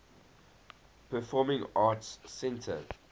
performing arts center